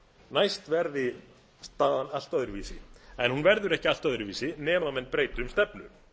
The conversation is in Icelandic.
næst verði staðan allt öðruvísi en hún verðu ekki allt öðruvísi nema menn breyti um stefnu